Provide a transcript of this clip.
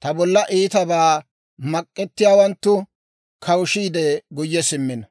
ta bolla iitabaa mak'ettiyaawanttu kawushiide guyye simmino.